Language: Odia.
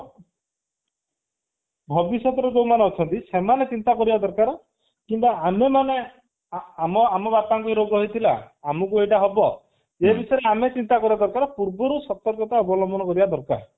ଭବିଷ୍ୟତରେ ଯୋଉମାନେ ଅଛନ୍ତି ସେମାନେ ଚିନ୍ତା କରିବା ଦରକାରେ କିମ୍ବା ଆମେ ମାନେ ଆମ ବାପଙ୍କୁ ବି ରୋଗ ହେଇଥିଲା ଆମକୁ ହେଇଟା ହବ ଏଇ ବିଷୟରେ ଆମେ ଚିନ୍ତା କରିବା ଦରକାର ପୂର୍ବରୁ ସତର୍କତା ଅବଲମ୍ବନ କରିବା ଦରକାର